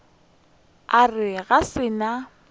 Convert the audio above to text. a re ga se nna